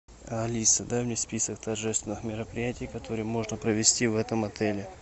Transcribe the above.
алиса дай мне список торжественных мероприятий которые можно провести в этом отеле